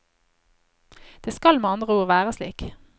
Det skal med andre ord være slik.